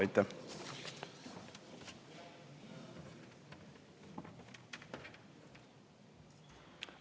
Aitäh!